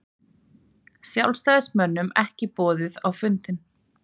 Sjálfstæðismönnum ekki boðið á fundinn